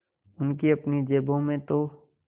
उनकी अपनी जेबों में तो